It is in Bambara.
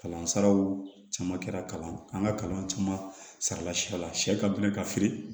Kalansaraw caman kɛra kalan an ka kalan caman sarala siya la sɛ ka deli ka feere